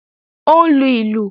Ó ń lu ìlù